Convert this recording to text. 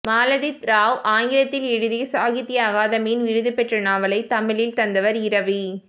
மாலதி ராவ் ஆங்கிலத்தில் எழுதி சாகித்ய அகாதெமியின் விருதுபெற்ற நாவலைத் தமிழில் தந்தவர் இரவி